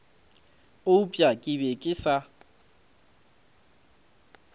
eupša ke be ke sa